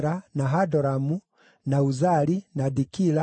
na Hadoramu, na Uzali, na Dikila,